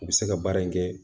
U bɛ se ka baara in kɛ